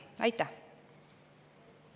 Aitäh!